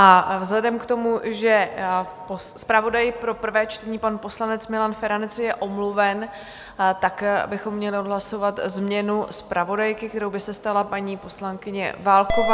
A vzhledem k tomu, že zpravodaj pro prvé čtení, pan poslanec Milan Feranec je omluven, tak bychom měli odhlasovat změnu zpravodajky, kterou by se stala paní poslankyně Válková.